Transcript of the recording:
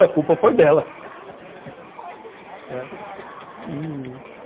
A culpa foi dela e